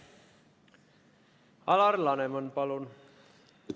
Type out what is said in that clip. Alar Laneman, palun!